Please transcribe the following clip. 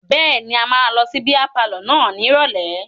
Bẹ́ẹ̀ni, a máa lọ sí bíá palọ̀ náà ní ìrọ̀lẹ́.